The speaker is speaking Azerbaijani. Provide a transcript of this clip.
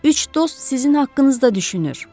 Üç dost sizin haqqınızda düşünür.